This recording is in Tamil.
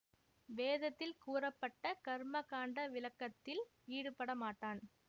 வேதத்தில் கூறப்பட்ட கர்ம காண்ட விளக்கத்தில் ஈடுபடமாட்டான்